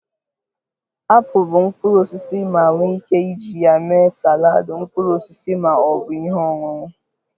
Apụl bụ mkpụrụ osisi ma nwee ike iji ya mee saladị mkpụrụ osisi ma ọ bụ ihe ọṅụṅụ